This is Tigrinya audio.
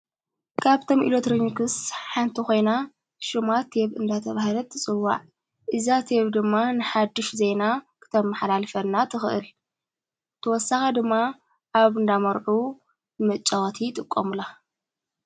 ካብቶም ኢሌትሮኒክስ ሓንተ ኾይና ሹማ ድማ ተብ ተባሂላ ትጽዋዕ እዛ ትየብ ድማ ንሓድሽ ዘይናክተም ሓላልፈና ትኽእል ተወሳኻ ድማ ኣብ እንዳመርዑ መጨወቲ ይጥቆምሉ፡፡